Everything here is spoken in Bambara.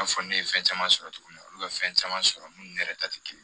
I n'a fɔ ne ye fɛn caman sɔrɔ cogo min na olu bɛ fɛn caman sɔrɔ minnu yɛrɛ ta tɛ kelen ye